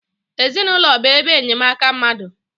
Ezinaụlọ bụ ebe enyemaka mmadụ